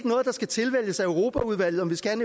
noget der skal tilvælges af europaudvalget om vi skal